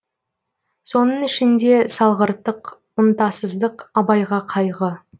соның ішінде салғырттық ынтасыздық абайға қайғы